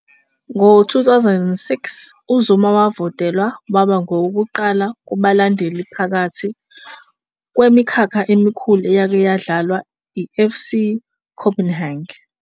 Ngo2006 uZuma wavotelwa waba ngowokuqala kubalandeli phakathi kwemikhakha emikhulu eyake yadlalwa eFC Copenhagen